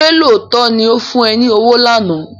Ṣé lóòótọ́ ni ó fún ẹ ní owó lánàá?